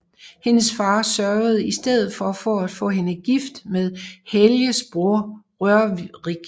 Hendes far sørgede i stedet for at få hende gift med Helges bror Rørik